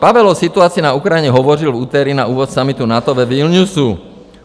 Pavel o situaci na Ukrajině hovořil v úterý na úvod summitu NATO ve Vilniusu.